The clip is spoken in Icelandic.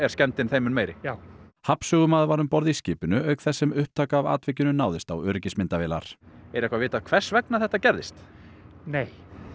skemmdin þeim mun meiri já hafnsögumaður var um borð í skipinu auk þess sem upptaka af atvikinu náðist á öryggismyndavélar er eitthvað vitað hvers vegna þetta gerðist nei